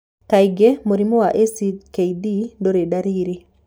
Kaingĩ mũrimũ wa ACKD ndũrĩ ndariri.